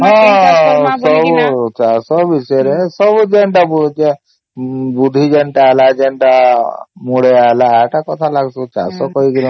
ହଁ ସବୁ ଚାଷ ବିଷୟରେ ସବୁ ଯେନ୍ତା ବୁଲୁଚ ବୁଢ଼ୀ ଜଣ ତ ହେଲା ଯେନ୍ତା ମୁଦିଏ ତ ହେଲା ସେନ୍ତା କଥା ଲାଗୂସୁ ଚାଷ କରିକିନା